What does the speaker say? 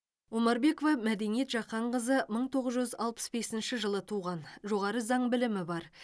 омарбекова мәдениет жақанқызы мың тоғыз жүз алпыс бесінші жылы туған жоғары заң білімі бар